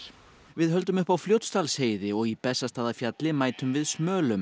við höldum upp á Fljótsdalsheiði og í mætum við